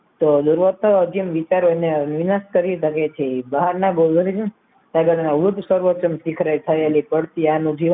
વિનાશ કરી શકે છે બહારના થયેલી પડતી બહારના બે વર્ગ સદનમાં ઉડસર્વપન થયેલી આનું જીવન ઉદાહરણ છે વ્યક્તિનું જો positive વિચાર રાખે